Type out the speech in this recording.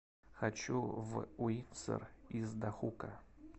хочу в уинсор из дахука